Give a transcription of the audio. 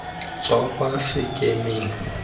tswa kwa sekemeng sa kalafi